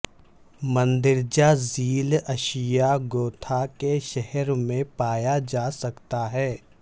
مندرجہ ذیل اشیاء گوتھا کے شہر میں پایا جا سکتا ہے